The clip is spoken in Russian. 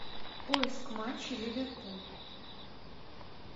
поиск матчей ливерпуль